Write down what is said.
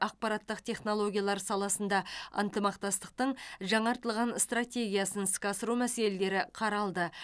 ақпараттық технологиялар саласында ынтымақтастықтың жаңартылған стратегиясын іске асыру мәселелері қаралды